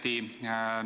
Tänan küsimuse eest!